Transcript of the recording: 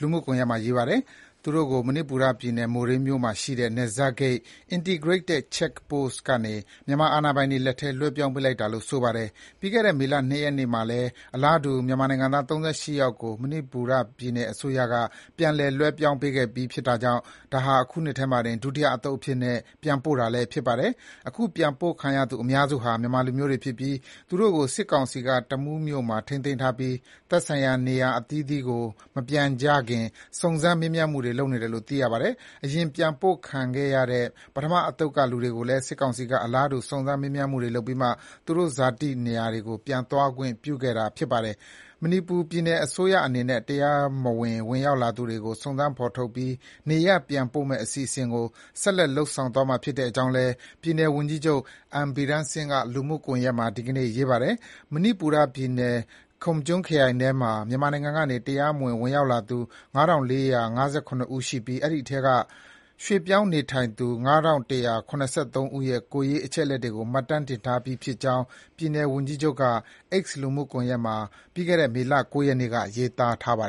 လူမှုကွန်ယက်မှာ ရေးပါတယ်။ သူတို့ကို မဏိပူရပြည်နယ်၊ မိုရေးမှာရှိတဲ့ နယ်စပ်ဂိတ် Integrated Check Post (ICP) ကနေ မြန်မာ အာဏာပိုင်တွေလက်ထဲ လွှဲပြောင်းပေးလိုက်တာလို့ ဆိုပါတယ်။ ပြီးခဲ့တဲ့ မေလ ၂ ရက်နေ့မှာလည်း အလားတူ မြန်မာနိုင်ငံသား ၃၈ ယောက်ကို မဏိပူရ ပြည်နယ်အစိုးရက ပြန်လည် လွှဲပြောင်းပေးခဲ့ပြီး ဖြစ်တာကြောင့် ဒါဟာ အခုနှစ်ထဲမှာတင် ဒုတိယအသုတ်အဖြစ်နဲ့ ပြန်ပို့တာလည်း ဖြစ်ပါတယ်။ အခုပြန်ပို့ခံရသူအများစုဟာ မြန်မာလူမျိုးတွေဖြစ်ပြီး သူတို့ကို စစ်ကောင်စီက တမူးမြို့မှာ ထိန်းသိမ်းထားပြီး သက်ဆိုင်ရာ နေရပ်အသီးသီးကို မပြန်ကြခင် စုံစမ်း မေးမြန်းမှုတွေ ပြုလုပ်နေတယ်လို့ သိရပါတယ်။ အရင် ပြန်ပို့ခံခဲ့ရတဲ့ ပထမအသုတ်ကလူတွေကိုလည်း စစ်ကောင်စီက အလားတူ စုံစမ်း မေးမြန်းမှုတွေ ပြုလုပ်ပြီးမှ သူတို့ ဇာတိတွေကို ပြန်သွားခွင့်ပြုခဲ့တာပါ။ မဏိပူရပြည်နယ်အစိုးရအနေနဲ့ တရားမဝင် ဝင်ရောက်လာသူတွေကို စုံစမ်း ဖော်ထုတ်ပြီး နေရပ်ပြန်ပို့မယ့်အစီအစဉ်ကို ဆက်လက် လုပ်ဆောင်သွားမှာဖြစ်ကြောင်း ပြည်နယ်ဝန်ကြီးချုပ် N. Biren Singh က လူမှုကွန်ယက်မှာ ဒီကနေ့ ရေးထားပါတယ်။ မဏိပူရ ပြည်နယ်၊ Kamjong ခရိုင်ထဲမှာ မြန်မာနိုင်ငံကနေ တရားမဝင် ဝင်ရောက်လာသူ ၅,၄၅၇ ဦး ရှိပြီး အဲဒီထဲက ရွှေ့ပြောင်းနေထိုင်သူ ၅,၁၇၃ ဦးရဲ့ ကိုယ်ရေး အချက်အလက်တွေကို မှတ်တမ်းတင်ထားပြီးဖြစ်ကြောင်း ပြည်နယ် ဝန်ကြီးချုပ်က လူမှုကွန်ယက်မှာ မေလ ၉ ရက်နေ့က ရေးသားထားပါတယ်